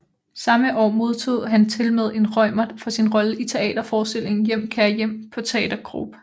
Samme år modtog han tilmed en Reumert for sin rolle i teater forestillingen Hjem kære hjem på Teater Grob